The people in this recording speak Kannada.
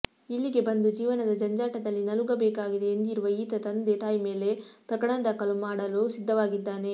ಇಲ್ಲಿಗೆ ಬಂದು ಜೀವನದ ಜಂಜಾಟದಲ್ಲಿ ನಲುಗಬೇಕಾಗಿದೆ ಎಂದಿರುವ ಈತ ತಂದೆ ತಾಯಿ ಮೇಲೆ ಪ್ರಕರಣ ದಾಖಲು ಮಾಡಲು ಸಿದ್ಧವಾಗಿದ್ದಾನೆ